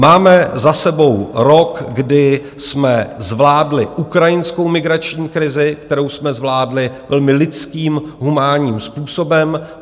Máme za sebou rok, kdy jsme zvládli ukrajinskou migrační krizi, kterou jsme zvládli velmi lidským, humánním způsobem.